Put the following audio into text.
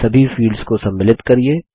सभी फील्ड्स को सम्मिलित करिये